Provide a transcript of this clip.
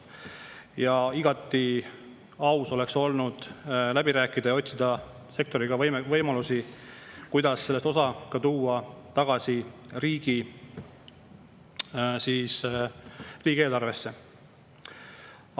Ja igati aus oleks olnud läbi rääkida ja otsida sektoriga võimalusi, kuidas sellest osa tuua tagasi riigieelarvesse.